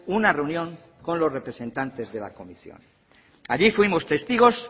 una reunión con los representantes de la comisión allí fuimos testigos